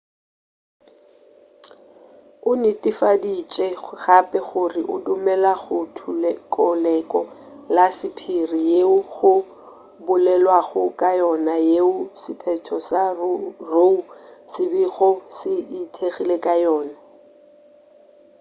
o netefaditše gape gore o dumela go thokelo la sephiri yeo go bolelwago ka yona yeo sephetho sa roe se bego se ithekgile ka yona